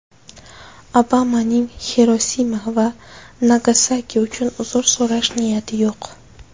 Obamaning Xirosima va Nagasaki uchun uzr so‘rash niyati yo‘q.